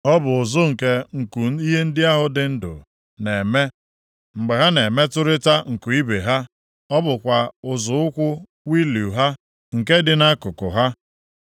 Ọ bụ ụzụ nke nku ihe ndị ahụ dị ndụ na-eme mgbe ha na-emetụrịta nku ibe ha; ọ bụkwa ụzụ ụkwụ wịịlu ha nke dị nʼakụkụ ha.